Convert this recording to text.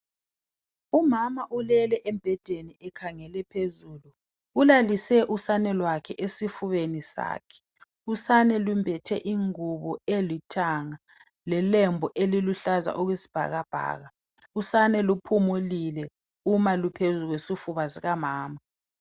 Umama ulele embhedeni ekhangele phezulu ulalise usane lwakhe esifubeni sakhe usane lumbethe ingubo elithanga lelembu eliluhlaza okwesibhakabhaka, usane luphumulile uma luphezu kwesifuba sikamama.